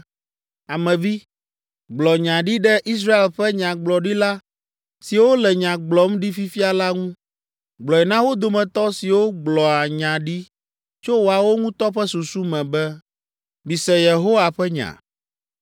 “Ame vi, gblɔ nya ɖi ɖe Israel ƒe nyagblɔɖila siwo le nya gblɔm ɖi fifia la ŋu. Gblɔe na wo dometɔ siwo gblɔa nya ɖi tso woawo ŋutɔ ƒe susu me be, ‘Mise Yehowa ƒe nya!’ ”